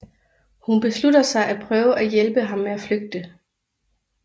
Hun beslutter sig at prøve at hjælpe ham med at flygte